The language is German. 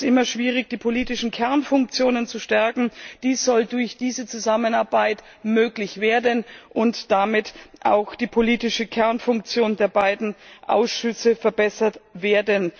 immer schwierig, die politischen Kernfunktionen zu stärken. Dies soll durch diese Zusammenarbeit möglich werden, und damit soll auch die politische Kernfunktion der beiden Ausschüsse verbessert werden.